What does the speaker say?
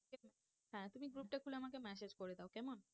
হ্যাঁ তুমি group টা খুলে আমাকে message করে দাও কেমন।